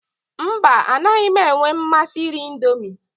Mba, anaghị m enwe mmasị iri Indomi.